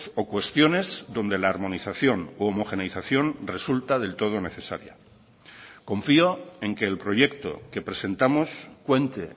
o cuestiones donde la armonización u homogeneización resulta del todo necesaria confío en que el proyecto que presentamos cuente